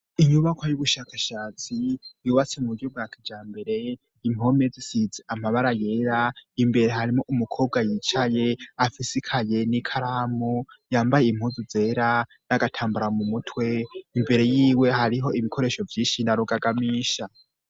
Inyubako y'ubushakashatsi yubase mu buryo bwakija mbere impomezisize amabara yera imbere harimo umukobwa yicaye afisikaye n'i karamu yambaye impuzu zera n'agatambura mu mutwe imbere yiwe hariho ibikoresho vy'inshi narugagamisha.